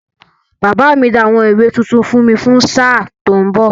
Bàbá mi ra àwọn ìwé tuntun fún mi fún sáà tó ń bọ̀.